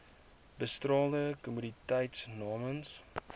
bestraalde kommoditeite namens